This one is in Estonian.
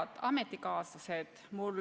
Head ametikaaslased!